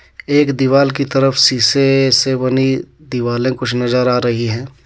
एक दिवाल की तरफ सीसे से बनी दीवाले कुछ नजर आ रही हे.